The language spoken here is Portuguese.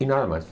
E nada mais.